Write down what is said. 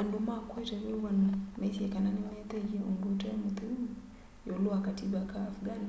andu ma kuete wiw'ano maisye kana nimeethiie undu ute mutheu iulu wa kativa ka afghan